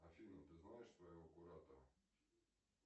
афина ты знаешь своего куратора